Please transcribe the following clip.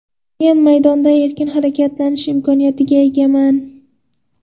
Men maydonda erkin harakatlanish imkoniyatiga egaman.